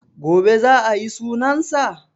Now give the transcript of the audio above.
Gobe za a yi sunan sa?